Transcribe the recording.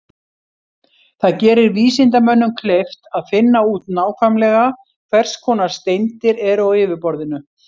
Það gerir vísindamönnum kleift að finna út nákvæmlega hvers konar steindir eru á yfirborðinu.